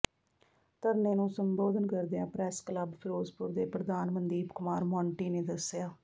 ਧਰਨੇ ਨੂੰ ਸੰਬੋਧਨ ਕਰਦਿਆਂ ਪ੍ਰੈਸ ਕਲੱਬ ਫ਼ਿਰੋਜ਼ਪੁਰ ਦੇ ਪ੍ਰਧਾਨ ਮਨਦੀਪ ਕੁਮਾਰ ਮੌਂਟੀ ਨੇ ਦਸਿਆ